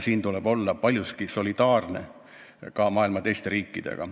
Siin tuleb olla paljuski solidaarne maailma teiste riikidega.